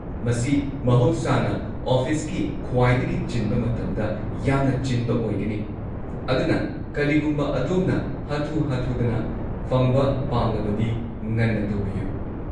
ꯃꯁꯤ ꯃꯍꯧꯁꯥꯅ ꯑꯣꯐꯤꯁꯀꯤ ꯈ꯭ꯋꯥꯏꯗꯒꯤ ꯆꯤꯟꯕ ꯃꯇꯝꯗ ꯌꯥꯝꯅ ꯆꯤꯟꯕ ꯑꯣꯏꯒꯅꯤ, ꯑꯗꯨꯅ ꯀꯔꯤꯒꯨꯝꯕ ꯑꯗꯣꯝꯅ ꯍꯥꯊꯨ-ꯍꯥꯊꯨꯗꯅ ꯐꯪꯕ ꯄꯥꯝꯂꯕꯗꯤ ꯉꯟꯅ ꯇꯧꯕꯤꯌꯨ꯫